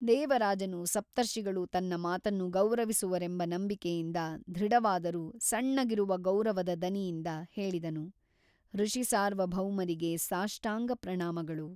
ದೇವರಾಜನು ಸಪ್ತರ್ಷಿಗಳು ತನ್ನ ಮಾತನ್ನು ಗೌರವಿಸುವರೆಂಬ ನಂಬಿಕೆಯಿಂದ ದೃಢವಾದರೂ ಸಣ್ಣಗಿರುವ ಗೌರವದ ದನಿಯಿಂದ ಹೇಳಿದನು ಋಷಿಸಾರ್ವಭೌಮರಿಗೆ ಸಾಷ್ಟಾಂಗ ಪ್ರಣಾಮಗಳು.